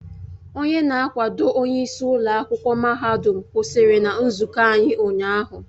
Onye na-akwado onyeisi ụlọ akwụkwọ mahadum kwụsịrị na nzụkọ anyị ụnyahụ